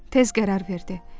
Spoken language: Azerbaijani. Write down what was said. Tez qərar verdi.